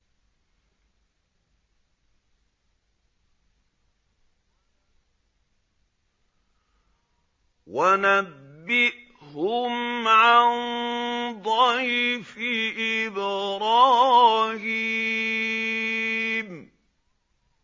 وَنَبِّئْهُمْ عَن ضَيْفِ إِبْرَاهِيمَ